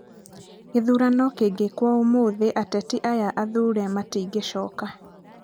Gĩthurano kĩngĩkwo ũmũthĩ ateti aya athure matingĩcoka!